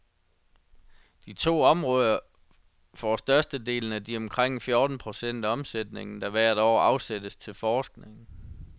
De to områder får størstedelen af de omkring fjorten procent af omsætningen, der hvert år afsættes til forskning.